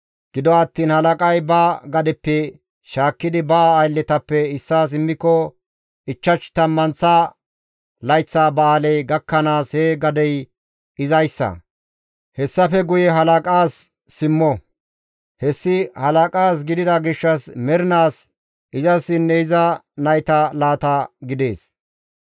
Gido attiin halaqay ba gadeppe shaakkidi ba aylletappe issaas immiko, ichchash tammanththa layththa ba7aaley gakkanaas he gadey izayssa. Hessafe guye halaqaas simmo; hessi halaqaas gidida gishshas mernaas izassinne iza naytas laata gidees.